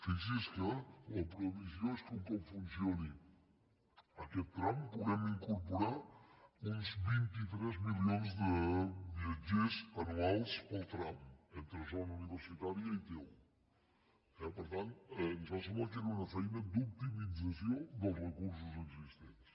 fixi’s que la previsió és que un cop funcioni aquest tram puguem incorporar uns vint tres milions de viatgers anuals pel tram entre zona universitària i t un eh per tant ens va semblar que era una feina d’optimització dels recursos existents